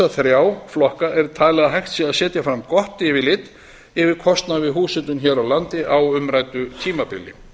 þrjá flokka er talið að hægt sé að setja fram gott yfirlit yfir kostnað við húshitun hér á landi á umræddu tímabili